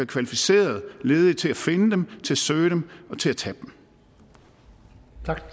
kvalificerede ledige til at finde dem til at søge dem og til at tage